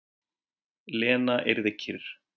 Lena yrði kyrr.